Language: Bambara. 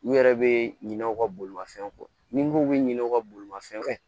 U yɛrɛ bɛ ɲinɛ u ka bolimafɛnw kɔ ni b'u bɛ ɲinɛ u ka bolimafɛnw kɔ